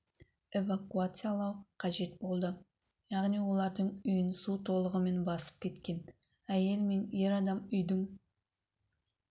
эвакуациялау қажет болды яғни олардың үйін су толығымен басып кеткен әйел мен ер адам үйдің